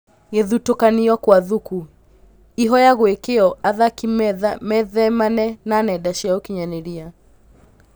Gũthutũkanio kwa Thuku: ihoya gũikio athaki methemane na nenda cia ũkinyanĩria